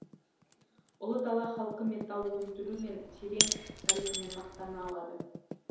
ұлы дала халқы металл өндіру мен терең тарихымен мақтана алады